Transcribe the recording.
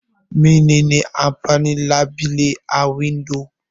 Mene ne amfanin labile a windo?